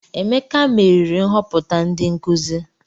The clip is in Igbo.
Emeka meriri nhoputa ndi nkuzi.